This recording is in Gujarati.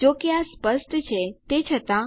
જો કે આ સ્પષ્ટ છે તે છતાં